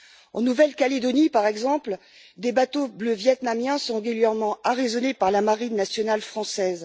En Nouvelle Calédonie, par exemple, des bateaux bleus vietnamiens sont régulièrement arraisonnés par la marine nationale française.